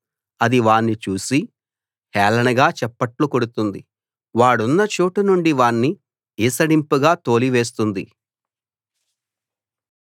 అది వాణ్ణి చూసి హేళనగా చప్పట్లు కొడుతుంది వాడున్న చోటు నుండి వాణ్ణి ఈసడింపుగా తోలివేస్తుంది